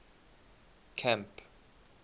camp